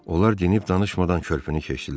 Onlar dinib danışmadan körpünü keçdilər.